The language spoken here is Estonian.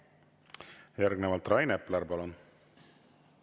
Järgnevalt Rain Epler, palun!